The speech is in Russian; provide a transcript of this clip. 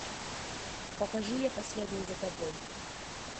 покажи я последую за тобой